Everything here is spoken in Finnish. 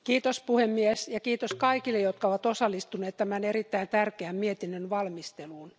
Arvoisa puhemies, kiitos kaikille jotka ovat osallistuneet tämän erittäin tärkeä mietinnön valmisteluun.